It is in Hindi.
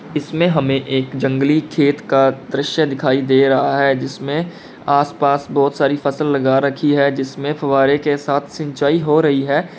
इसमें हमें एक जंगली खेत का दृश्य दिखाई दे रहा है जिसमें आस पास बहोत सारी फसल लगा रखी है जिसमें फव्वारे के साथ सिंचाई हो रही है।